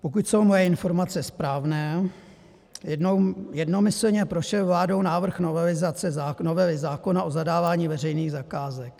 Pokud jsou moje informace správné, jednomyslně prošel vládou návrh novely zákona o zadávání veřejných zakázek.